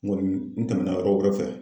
N kɔni n tɛmɛna yɔrɔ wɛrɛw fɛ